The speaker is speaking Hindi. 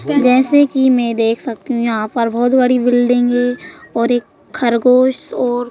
जैसे कि मैं देख सकती हूं यहां पर बहुत बड़ी बिल्डिंग है और एक खरगोश और--